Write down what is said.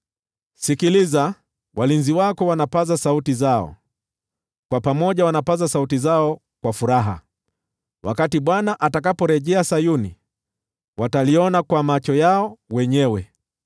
Sikiliza! Walinzi wako wanapaza sauti zao, pamoja wanapaza sauti zao kwa furaha. Wakati Bwana atakaporejea Sayuni, wataliona kwa macho yao wenyewe.